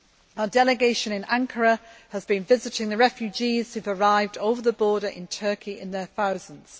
Our delegation in Ankara has been visiting the refugees who have arrived over the border in Turkey in their thousands.